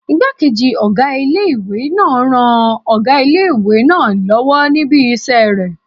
Ìgbákejì ọgá ilé-ìwé ń ran ọgá ilé-ìwé náà lọ́wọ́ níbi isẹ́ rẹ̀